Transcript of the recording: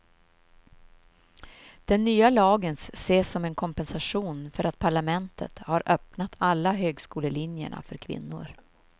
Den nya lagen ses som en kompensation för att parlamentet har öppnat alla högskolelinjerna för kvinnor.